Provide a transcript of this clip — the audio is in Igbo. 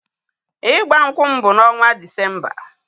Ịgba nkwụ m bụ n'ọnwa Disemba